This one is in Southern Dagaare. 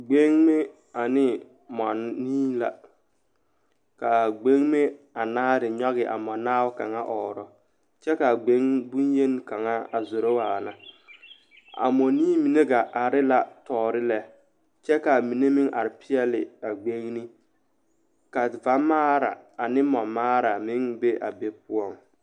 Gbeŋme ane mɔnii la ka a ɡbeŋme nyɔɡe a mɔnaabo a ɔɔrɔ kyɛ ka a ɡbeŋme bonyeni kaŋa a zoro waana a mɔnii mine ɡaa are la tɔɔre lɛ kyɛ ka a mine are peɛle a ɡbeŋne ka vamaara ane mɔmaara a meŋ be a be poɔ.